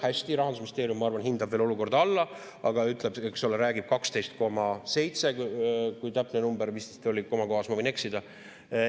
Hästi, Rahandusministeerium hindab veel olukorda alla, aga räägib 12,7%‑st, kui see oli täpne number, ma komakohas võin eksida.